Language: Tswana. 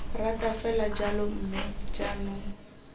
rata fela jalo mme jaanong